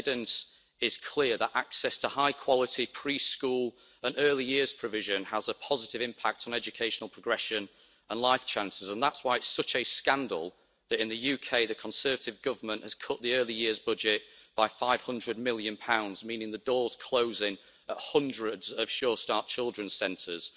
The evidence is clear that access to high-quality pre school and early years provision has a positive impact on educational progression and life chances, and that is why it is such a scandal that in the UK the Conservative Government has cut the Early Years budget by GBP 500 million, meaning the door is closing to hundreds of Sure Start children's centres.